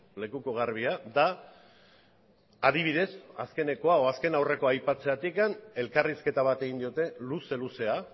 lekuko garbia da adibidez azkenekoa edo azken aurrekoa aipatzeagatik elkarrizketa bat egin diote luze luzea